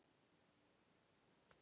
Ég sá það. kallaði Rikka.